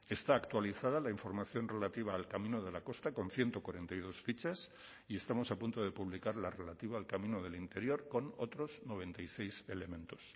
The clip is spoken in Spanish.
está actualizada la información relativa al camino de la costa con ciento cuarenta y dos fichas y estamos a punto de publicar la relativa al camino del interior con otros noventa y seis elementos